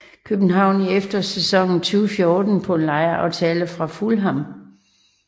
København i efterårssæsonen 2014 på en lejeaftale fra Fulham